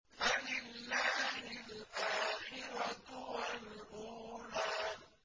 فَلِلَّهِ الْآخِرَةُ وَالْأُولَىٰ